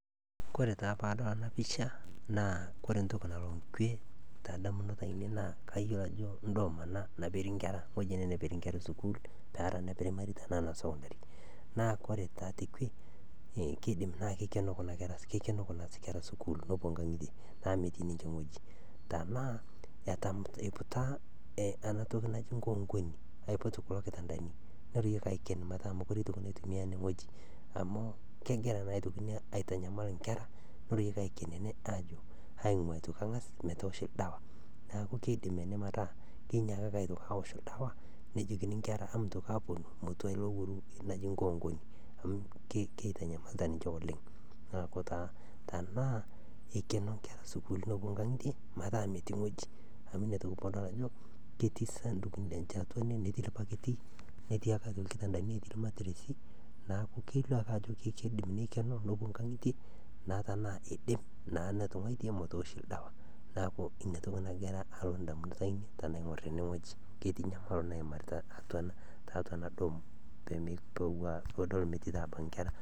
Kore taa pee adol ena pisha ore entoki nalo nkwe naa ainei naa kayiolo ajo endoome ena natii nkera. Ewueji ene neperie nkera esukuul eprimari tenaa sekondari. Naa ore taa tekwe keidim naa keikeno kuna kera sukuul nepuo nkangitie naa metii ninye ewueji. Tenaa eiputa enatoki naji nkoonkoni neiput kulo kitandani neriwai aiken metaa metii oltungani oitoki ajing amuu kegira aitoki ina aitanyamal inkera niakuku kengasi aingua ine pee ewoshi ildawa. Niaku keidim ene metaa kenyiakaki aitoki aawosh oldawa nejokini nkera emintoki aaponu netua olowuaru naji nkoonkoni amu keitanyamalita ninche oleng. Niaku taa tenaa eikeno nkera sukuul mepuo nkangitie amu inatoki adol ajo ketii isanduku and i lenye atua ene netii ilbakiti netii ebaki ilkitabdani netii irmatiresi niaku kelio ake ajo keidim neikeno nepuo nkangitie na tenaa eidim naa etunguaitie metooshi oldawa niaku inatoki nagira alo indamunot ainei tenadol ena bae ketii enyamalo naimaritai tiatua enadom pee mepuoi metii naa abaiki inkera